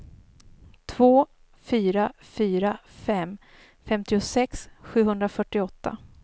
två fyra fyra fem femtiosex sjuhundrafyrtioåtta